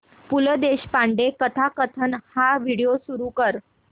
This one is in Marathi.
पु ल देशपांडे कथाकथन हा व्हिडिओ सुरू कर